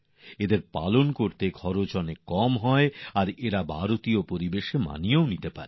এগুলি পালনে খরচও কম হয় আর ভারতীয় পরিবেশের সঙ্গে মানিয়েও নেয়